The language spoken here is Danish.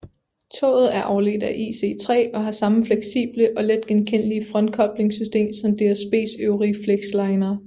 Toget er afledt af IC3 og har samme fleksible og let genkendelige frontkoblingssystem som DSBs øvrige flexlinere